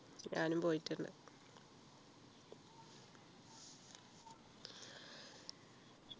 ഞാനും പോയിട്ടുണ്ട്